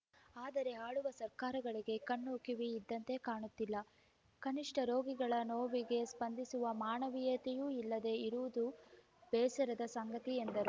ಆದರೆ ಆಳುವ ಸರ್ಕಾರಗಳಿಗೆ ಕಣ್ಣು ಕಿವಿ ಇದ್ದಂತೆ ಕಾಣುತ್ತಿಲ್ಲ ಕನಿಷ್ಠ ರೋಗಿಗಳ ನೋವಿಗೆ ಸ್ಪಂದಿಸುವ ಮಾನವೀಯತೆಯೂ ಇಲ್ಲದೆ ಇರುವುದು ಬೇಸರದ ಸಂಗತಿ ಎಂದರು